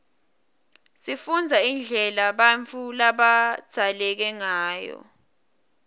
sifundza indlela bautfu labadzaleke ngayo